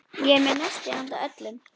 Ég er með nesti handa öllum.